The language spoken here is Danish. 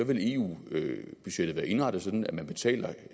vil eu budgettet være indrettet sådan at man betaler